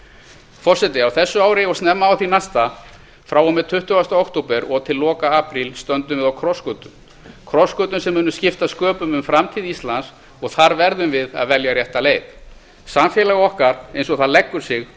forseti á þessu ári og snemma á því næsta frá og með tuttugasta október og til loka apríl stöndum við á krossgötum krossgötum sem munu skipta sköpum um framtíð íslands og þar verðum við að velja rétta leið samfélag okkar eins og það leggur sig